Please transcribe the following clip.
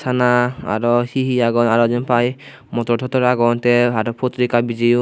sana aro he he agon aro jenpai motor totor agon tey aro potrika bijeyon.